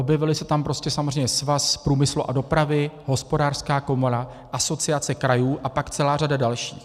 Objevily se tam prostě samozřejmě Svaz průmyslu a dopravy, Hospodářská komora, Asociace krajů a pak celá řada dalších.